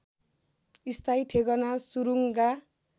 स्थायी ठेगाना सुरुङ्गा